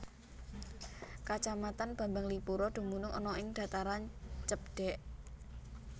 Kacamatan Bambanglipuro dumunung ana ing dhataran cebdhèk